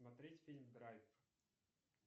смотреть фильм драйв